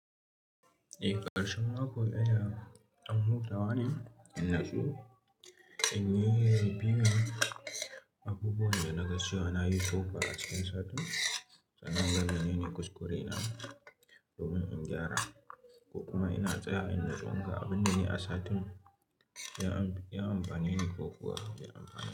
Eh ƙarshen mako yana dan hutawane, inyi so in review abubuwan da na na yi ko ba a cikin satin. Sanan gaba ne, ni kuskure na domin in gyara kokuma ina tsaya innutsu ma abin da ne a satin ya abin amfanine nko kuwa bai amfanine.